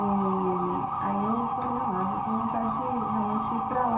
E... aí eu falei, eu estou com vontade de realmente ir para lá.